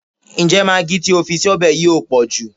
Ǹjẹ́ magi tí o fi sọ́bẹ̀ yìí ò pọ̀jù?